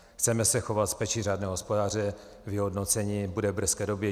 Chceme se chovat s péčí řádného hospodáře, vyhodnocení bude v brzké době.